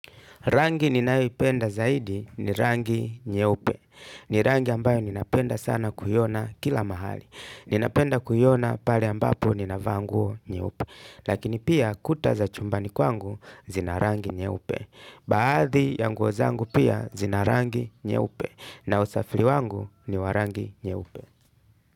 Rangi ninayoipenda zaidi ni rangi nyeupe. Ni rangi ambayo ninapenda sana kuiona kila mahali. Ninapenda kuiona pale ambapo ninavaa nguo nyeupe. Lakini pia kuta za chumbani kwangu zina rangi nyeupe. Baadhi ya nguo zangu pia zina rangi nyeupe. Na usafiri wangu ni wa rangi nyeupe.